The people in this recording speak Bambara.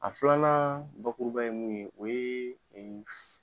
A filanan bakuruba ye mun ye o ye